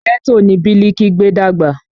Ghetto ni Biliki gbé dàgbà